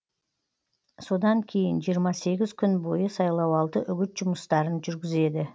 содан кейін жиырма сегіз күн бойы сайлауалды үгіт жұмыстарын жүргізеді